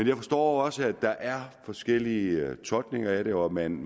jeg forstår også at der er forskellige tolkninger af det og at man